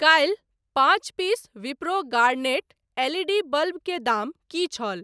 काल्हि पाँच piece Wipro Garnet L E D bulb के दाम की छल ?